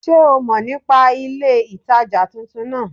Sé o mo nípa ilé ìtajà titun náà